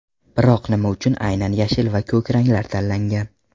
Biroq nima uchun aynan yashil va ko‘k ranglar tanlangan?